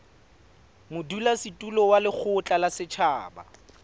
modulasetulo wa lekgotla la setjhaba